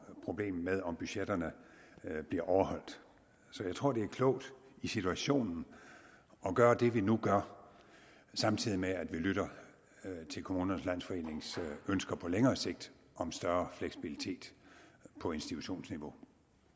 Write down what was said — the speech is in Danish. problemet med om budgetterne bliver overholdt så jeg tror det er klogt i situationen at gøre det vi nu gør samtidig med at vi lytter til kommunernes landsforenings ønsker på længere sigt om større fleksibilitet på institutionsniveau